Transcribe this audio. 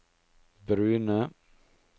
brune